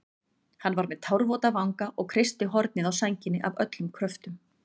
Hann var með tárvota vanga og kreisti hornið á sænginni af öllum kröftum.